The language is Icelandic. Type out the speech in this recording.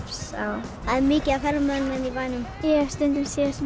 er mikið af ferðamönnum hérna í bænum ég hef stundum séð